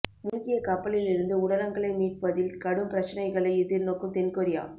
மூழ்கிய கப்பலில் இருந்து உடலங்களை மீட்பதில் கடும் பிரச்சினைகளை எதிர்நோக்கும் தென்கொரியா